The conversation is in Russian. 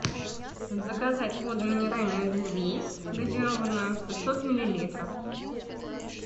заказать воду минеральную эдельвейс газированную пятьсот миллилитров